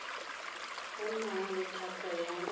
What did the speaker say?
o nang le thata ya